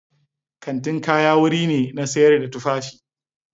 Kantin kaya wuri ne na sayar da tufafi.